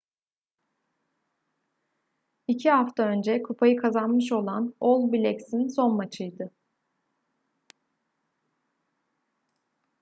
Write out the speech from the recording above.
i̇ki hafta önce kupayı kazanmış olan all blacks’in son maçıydı